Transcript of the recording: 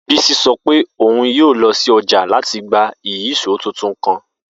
Bisi sọ pe oun yoo lọ si ọja lati gba ìyíṣòó tuntun kan.